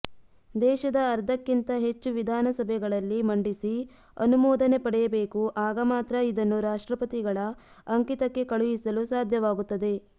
ದೇಶದ ಅರ್ಧಕ್ಕಿಂತ ಹೆಚ್ಚು ವಿಧಾನ ಸಭೆಗಳಲ್ಲಿ ಮಂಡಿಸಿ ಅನುಮೋದನೆ ಪಡೆಯಬೇಕು ಆಗ ಮಾತ್ರ ಇದನ್ನು ರಾಷ್ಟ್ತ್ರಪತಿಗಳ ಅಂಕಿತಕ್ಕೆ ಕಳಿಹಿಸಲು ಸಾಧ್ಯವಾಗುತ್ತದೆ